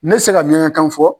Ne tɛ se ka miyankakan fɔ.